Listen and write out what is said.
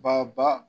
Ba ba